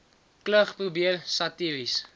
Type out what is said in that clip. klug probeer satiries